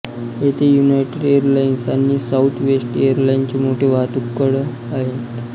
येथे United Airlines आणि Southwest एरलाइन्सचे मोठे वाहतूकतळ आहेत